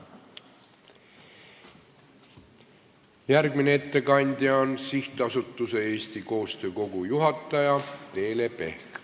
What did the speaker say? Järgmine ettekandja on SA Eesti Koostöö Kogu juhataja Teele Pehk.